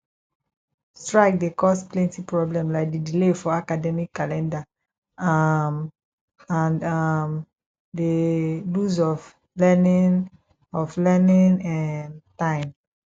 strike dey cause plenty problem like di delay for academic calendar um and um di lose of learning of learning um time